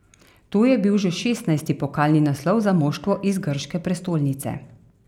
To je bil že šestnajsti pokalni naslov za moštvo iz grške prestolnice.